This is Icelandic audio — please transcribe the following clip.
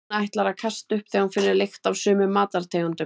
Hún ætlar að kasta upp þegar hún finnur lykt af sumum matartegundum.